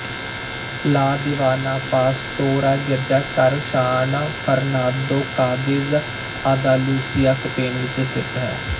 ਲਾ Divina Pastora ਗਿਰਜਾਘਰ San Fernando Cadiz Andalusia Spain ਵਿੱਚ ਸਥਿਤ ਹੈ